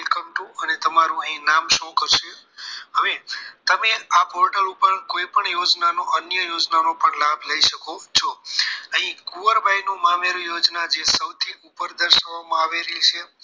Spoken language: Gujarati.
Welcome to અને તમારું નામ અહીં show કરશે હવે તમે આ portal ઉપર કોઈપણ યોજના નો અન્ય યોજનાનો પણ લાભ લઈ શકો છો અહીં કુંવરબાઈ મામેરુ ની યોજના જે સૌથી ઉપર દર્શાવેલી માં આવેલી છે